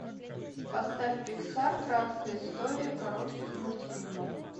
поставь пиксар краткая история коротких мультфильмов